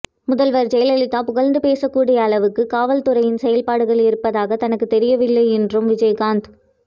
முதல்வர் ஜெயலலிதா புகழ்ந்து பேசக் கூடிய அளவுக்கு காவல்துறையின் செயல்பாடு இருப்பதாக தனக்குத் தெரியவில்லை என்றும் விஜயகாந்த்